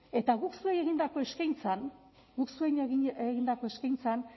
eta guk zuei egindako eskaintzan guk zuei egindako eskaintzan